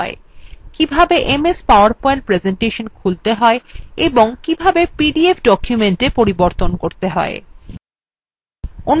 কিভাবে ms powerpoint presentation খুলতে হয় এবং কিভাবে pdf documenta পরিবর্তন করতে হয়